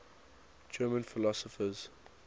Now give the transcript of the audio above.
german philosophers